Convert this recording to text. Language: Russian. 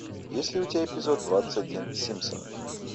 есть ли у тебя эпизод двадцать один симпсоны